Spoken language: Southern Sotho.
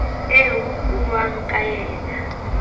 eo ho buuwang ka yena